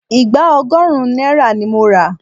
Ìgbá ọgọ́run náírà ni mo ra.